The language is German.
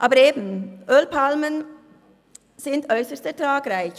Aber eben: Ölpalmen sind äusserst ertragreich.